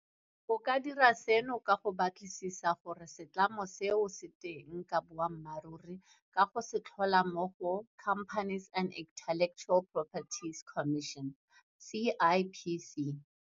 O ka dira seno ka go batlisisa gore a setlamo seo se teng ka boammaruri ka go se tlhola mo go Companies and Intellectual Property Commission, CIPC.